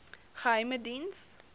geheimediens